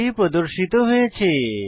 30 প্রদর্শিত হয়েছে